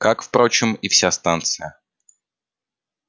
как впрочем и вся станция